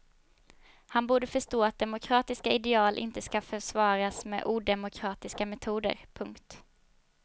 Han borde förstå att demokratiska ideal inte ska försvaras med odemokratiska metoder. punkt